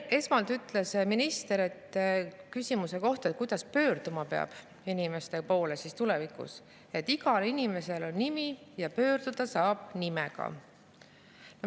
Esmalt ütles minister, vastates küsimusele, kuidas tulevikus peaks inimeste poole pöörduma, et igal inimesel on nimi ja pöörduda saab nimega.